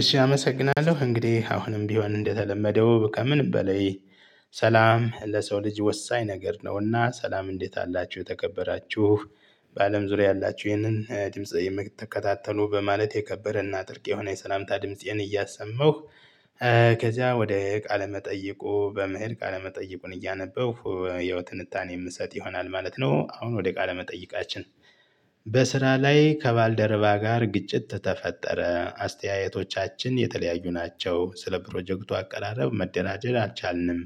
እሺ አመሰግናለሁ እንግዲህ አሁንም ቢሆን እንደተለመደው ከምንም በላይ። ሰላም ለሰው ልጅ ወሳኝ ነገር ነውና። ሰላም እንዴት አላችሁ የተከበራችሁ። በአለም ዙሪያ ያላችሁ ይህንን ድምጽ የምትከታተሉ በማለት የከበረ እና ጥልቅ የሆነ የሰላምታ ድምፄን እያሰማሁ። ከዚያ ወደ ቃለ መጠይቁ በመሄድ ቃለ መጠይቁን እያነበብሁ ያው ትንታኔ የምሰጥ ይሆናል ማለት ነው። አሁን ወደ ቃለ መጠይቃችን። በስራ ላይ ከባልደረባ ጋር ግጭት ተፈጠረ አስተያየቶቻችን የተለያዩ ናቸው። ስለ ፕሮጀክቱ አቀራረብ መደናጀት አልቻልንም።